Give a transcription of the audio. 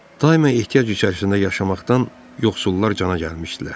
Daima ehtiyac içərisində yaşamaqdan yoxsullar cana gəlmişdilər.